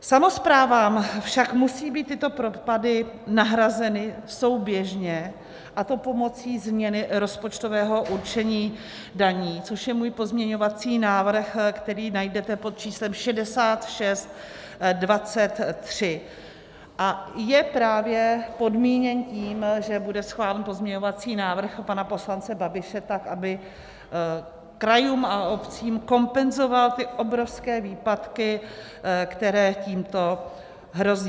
Samosprávám však musí být tyto propady nahrazeny souběžně, a to pomocí změny rozpočtového určení daní, což je můj pozměňovací návrh, který najdete pod číslem 6623, a je právě podmíněn tím, že bude schválen pozměňovací návrh pana poslance Babiše, tak, aby krajům a obcím kompenzoval ty obrovské výpadky, které tímto hrozí.